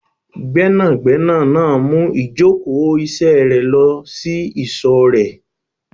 Gbẹ́nàgbẹ́nà náà mú ìjókòó ìṣe rẹ lọ sí ìsò rèé